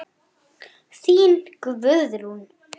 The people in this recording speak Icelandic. Þín Guðrún.